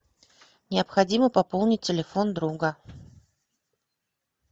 необходимо пополнить телефон друга